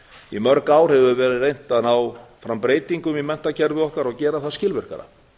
í mörg ár hefur verið reynt að ná fram breytingum í menntakerfi okkar og gera það skilvirkara